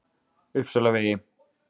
Uppsalavegi